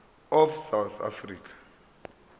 of south african